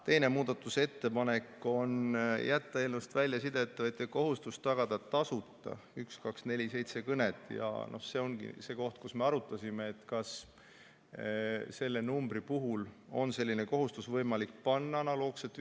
Teine muudatusettepanek on jätta eelnõust välja sideettevõtja kohustus tagada tasuta 1247 kõned ja see oligi see koht, kus me arutasime, kas selle numbri puhul on võimalik analoogselt 112-ga seda kohustust panna.